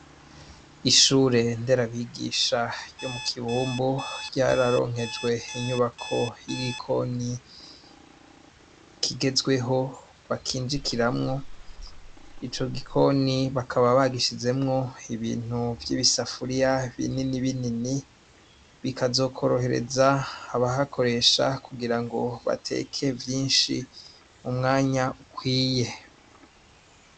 Ishure ry'isomero ryo mu kibumbu yararonkejwe inyubako y'igikoni kigezweho bakinjikiramwo, ico gikoni bakaba bagishizemwo ibintu vy'ibisafuriya binini binini bikazokorohereza ababikoresha kugira ngo bateke vyinshi mu mwanya ukwiye.